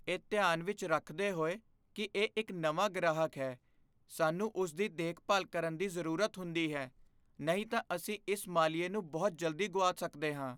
ਇਹ ਧਿਆਨ ਵਿੱਚ ਰੱਖਦੇ ਹੋਏ ਕਿ ਇਹ ਇੱਕ ਨਵਾਂ ਗ੍ਰਾਹਕ ਹੈ, ਸਾਨੂੰ ਉਸ ਦੀ ਦੇਖਭਾਲ ਕਰਨ ਦੀ ਜ਼ਰੂਰਤ ਹੁੰਦੀ ਹੈ ਨਹੀਂ ਤਾਂ ਅਸੀਂ ਇਸ ਮਾਲੀਏ ਨੂੰ ਬਹੁਤ ਜਲਦੀ ਗੁਆ ਸਕਦੇ ਹਾਂ।